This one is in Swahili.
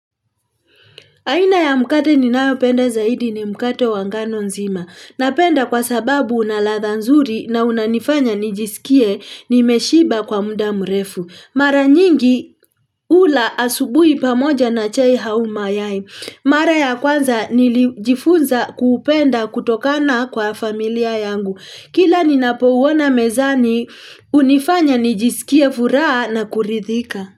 Aina ya mkate ninayopenda zaidi ni mkate wa ngano nzima. Napenda kwa sababu unaladha nzuri na unanifanya nijisikie nimeshiba kwa muda mrefu. Mara nyingi hula asubuhi pamoja na chai au mayai Mara ya kwanza nilijifunza kuupenda kutokana kwa familia yangu. Kila ninapo uona mezani hunifanya nijisikie furaha na kuridhika.